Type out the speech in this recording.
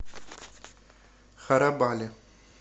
харабали